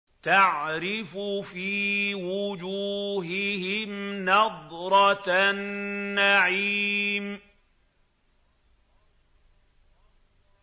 تَعْرِفُ فِي وُجُوهِهِمْ نَضْرَةَ النَّعِيمِ